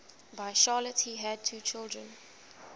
by charlotte he had two children